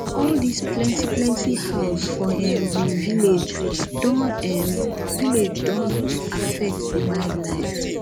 all dis plenty plenty house for um we village don um village don um affect di wildlife